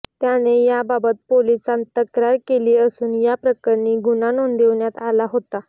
त्याने याबाबत पोलीसात तक्रार दिली असून या प्रकरणी गुन्हा नोंदवण्यात आला होता